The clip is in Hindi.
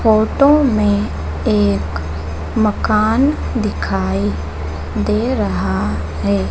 फोटो में एक मकान दिखाई दे रहा है।